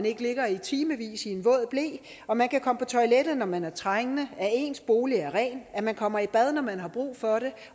ikke ligger timevis i en våd ble og at man kan komme på toilettet når man er trængende at ens bolig er ren at man kommer i bad når man har brug for det